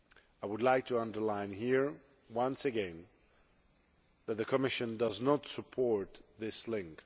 I would like to underline here, once again, that the Commission does not support this link.